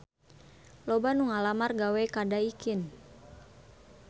Loba anu ngalamar gawe ka Daikin